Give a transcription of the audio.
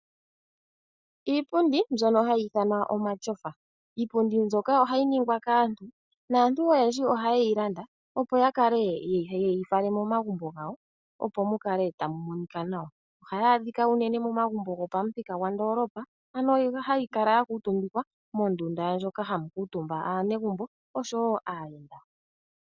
Iipundi mbyono hayi ithanwa omatyofa. Iipundi mbyoka ohayi ningwa kaantu, naantu oyendji ohaye yi landa, opo ya kale ye yi fale momagumbo gawo, opo mu kale tamu monika nawa. Ohayi adhika unene momagumbo gopamuthika gwandoolopa, ano hayi kala ya kuutumbikwa mondunda ndjoka hamu kuutumba aanegumbo, osho wo aayenda.